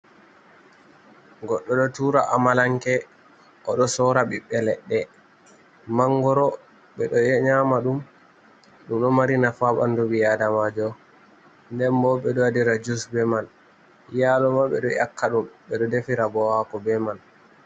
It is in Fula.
Goɗɗo ɗo tura amalanke oɗo sorra biɓbe ledde mangoro, ɓeɗo nyama ɗum, ɗum ɗo mari nafu ha ɓandu ɓi adamajo, nden bo ɓeɗo waɗira jus be man yalo ma ɓeɗo dyakka ɗum ɓeɗo defira bo hako be man.